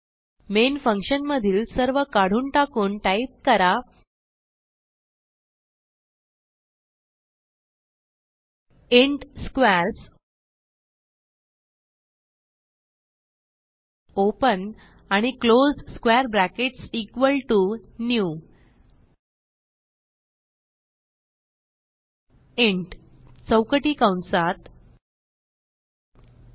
main function मधील सर्व काढून टाकून टाइप करा इंट स्क्वेअर्स ओपन आणि close square brackets equal to new int चौकटी कंसात 10